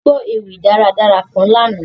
À gbọ ewi daradara kan lana.